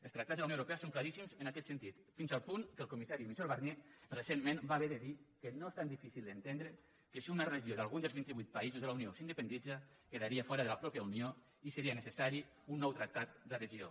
els tractats de la unió europea són claríssims en aquest sentit fins al punt que el comissari michel barnier recentment va haver de dir que no és tan difícil d’entendre que si una regió d’algun dels vinti vuit països de la unió s’independitza quedaria fora de la mateixa unió i seria necessari un nou tractat d’adhesió